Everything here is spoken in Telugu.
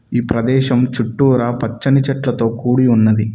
ఈ ప్రదేశం చుట్టూరా పచ్చని చెట్లతో కూడి ఉన్నది.